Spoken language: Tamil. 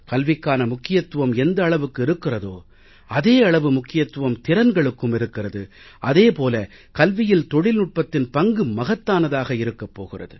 கல்விக்கான முக்கியத்துவம் எந்த அளவுக்கு இருக்கிறதோ அதே அளவு முக்கியத்துவம் திறன்களுக்கும் இருக்கிறது அதே போல கல்வியில் தொழில்நுட்பத்தின் பங்கு மகத்தானதாக இருக்கப் போகிறது